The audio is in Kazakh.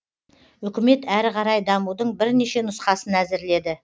үкімет әрі қарай дамудың бірнеше нұсқасын әзірледі